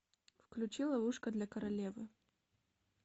включи ловушка для королевы